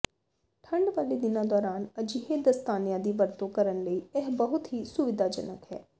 ਠੰਡ ਵਾਲੇ ਦਿਨਾਂ ਦੌਰਾਨ ਅਜਿਹੇ ਦਸਤਾਨਿਆਂ ਦੀ ਵਰਤੋਂ ਕਰਨ ਲਈ ਇਹ ਬਹੁਤ ਹੀ ਸੁਵਿਧਾਜਨਕ ਹੈ